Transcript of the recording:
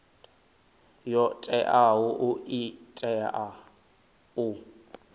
yo teaho i tea u